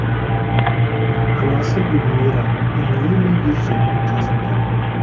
анасы гүлмира үнемі ержанның қасында